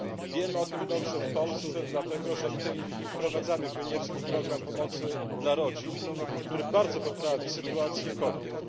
Wiemy o tym dobrze w Polsce, dlatego że w tej chwili wprowadzamy pionierski program pomocy dla rodzin, który bardzo poprawi sytuację kobiet.